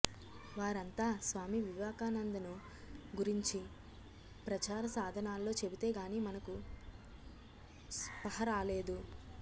వారంతా స్వామి వివేకానందను గురించి ప్రచార సాధనాల్లో చెబితేగాని మనకు స్పహరాలేదు